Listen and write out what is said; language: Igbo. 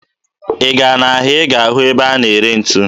Ị gaa n'ahịa ị ga-ahụ ebe a na-ere ntu